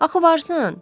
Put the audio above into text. Axı varsan?